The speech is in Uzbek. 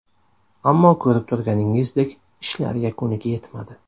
Ammo ko‘rib turganingizdek, ishlar yakuniga yetmadi.